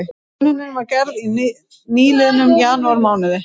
Könnunin var gerð í nýliðnum janúarmánuði